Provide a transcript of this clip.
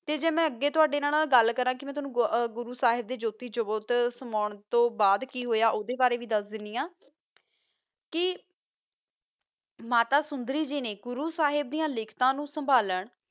ਤਾ ਮਾ ਅਗ ਗਲ ਕਰ ਗੁਰੋ ਸਾਹਿਬ ਦਾ ਜੋਖਿ ਚੋਰ ਓਸ ਤੋ ਬਾਦ ਹੀ ਹੋਆ ਓਨ੍ਦਾ ਬਾਰਾ ਵੀ ਦਸ ਦਾਨੀ ਆ ਕੀ ਮਾਤਾ ਸੋੰਦਾਰੀ ਗ ਨਾ ਗੁਰੋ ਸਾਹਿਬ ਸੰਬਾਲਾਂ ਲਾਗ ਗੀ